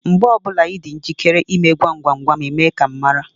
Mgbe ọbụla Ị dị njikere ịme gwam gwam gwam, Ị mee ka m mara.